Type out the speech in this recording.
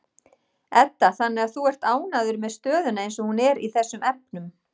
Edda: Þannig að þú ert ánægður með stöðuna eins og hún er í þessum efnum?